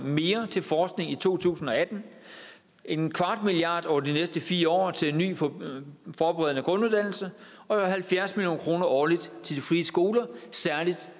mere til forskning i to tusind og atten en kvart milliard over de næste fire år til ny forberedende forberedende grunduddannelse og halvfjerds million kroner årligt til de frie skoler særlig